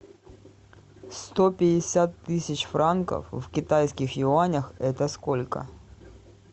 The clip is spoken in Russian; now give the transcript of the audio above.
сто пятьдесят тысяч франков в китайских юанях это сколько